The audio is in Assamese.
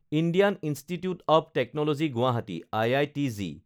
Indian Institute of Technology Guwahati (IITG)